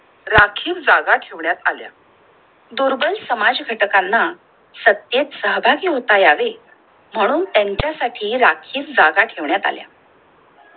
राखीव जागा ठेवण्यात आल्या. दुर्बळ समाज घटकांना सत्तेत सहभागी होता यावे म्हणून त्यांच्या साठी राखील जागा ठेवण्यात आल्या